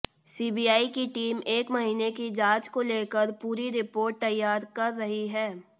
CBI की team एक महीने की जांच को लेकर पूरी रिपोर्ट तैयार कर रही है